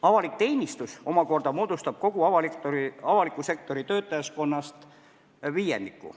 Avalik teenistus omakorda moodustab kogu avaliku sektori töötajaskonnast viiendiku.